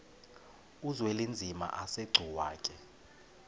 uzwelinzima asegcuwa ke